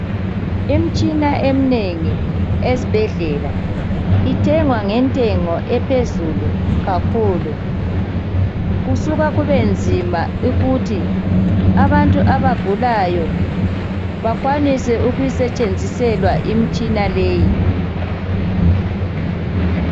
Imitshina eminengi esibhedlela ithengwa ngentengo ephezulu kakhulu. Kusuka kube nzima ukuthi abantu abagulayo bakwanise ukuyisetshenziselwa imitshina leyi.